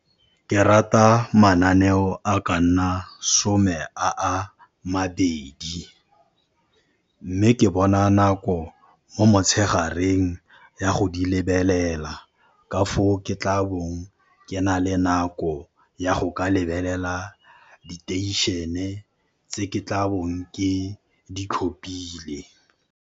Ke rata mananeo a ka nna some a a mabedi, mme ke bona nako mo motshegareng ya go di lebelela. Ka foo ke tla bong ke na le nako ya go ka lebelela diteišene tse ke tla bong ke di tlhopile.